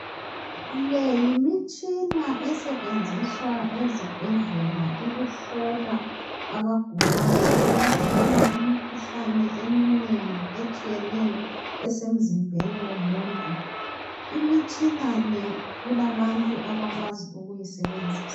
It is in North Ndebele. Le yimitshina esetshenziswa ezibhedlela ukuhlola abagulayo. Iyahlola imikhuhlane eminengi etshiyeneyo esemzimbeni womuntu. Imitshina le kulabantu abakwazi ukuyisebenzisa.